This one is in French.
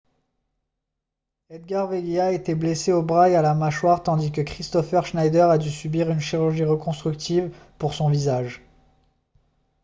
edgar veguilla a été blessé au bras et à la mâchoire tandis que kristoffer schneider a dû subir une chirurgie reconstructive pour son visage